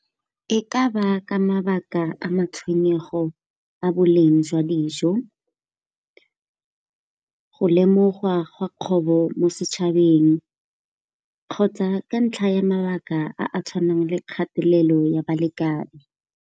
E ka ba ka mabaka a matshwenyego a boleng jwa dijo, go lemogwa a gwa kgobo mo setšhabeng kgotsa ka ntlha ya mabaka a a tshwanang le kgatelelo ya balekane.